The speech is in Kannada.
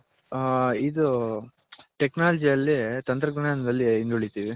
ಹಾ ಇದು Technology ಯಲ್ಲಿ ತಂತ್ರ ಜ್ಞಾನದಲ್ಲಿ ಹಿಂದುಳಿತಿವಿ.